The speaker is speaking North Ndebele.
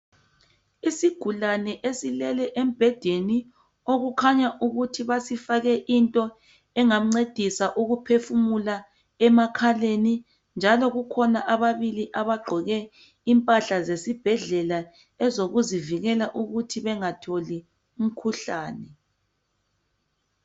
Isigulane esilele embhedeni okukhanya ukuthi basifake into engamncedisa ukuphefumula emakhaleni, njalo kukhona ababili abagqoke impahla zesibhedlela ezokuzivikela ukuthi bengatholi umkhuhlane.